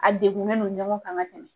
A degunnen de ɲɔgɔn kan ka tɛmɛ .